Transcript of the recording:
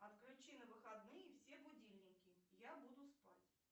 отключи на выходные все будильники я буду спать